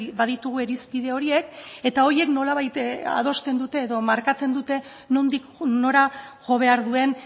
baditugu irizpide horiek eta horiek nolabait adosten dute edo markatzen dute nondik nora jo behar duen